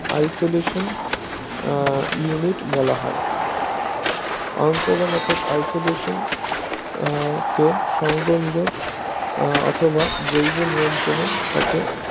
isolation ah unit বলা হয় অন্তরতন isolation আহ কে সঙ্গ নিরোদ অথবা জৈব নিয়ন্ত্রণের সাথে